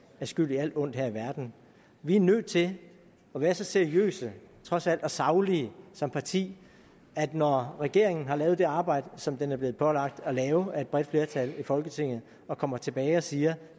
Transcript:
er skyld i alt ondt her i verden vi er nødt til at være så seriøse trods alt og saglige som parti at når regeringen har lavet det arbejde som den er blevet pålagt at lave af et bredt flertal i folketinget og kommer tilbage og siger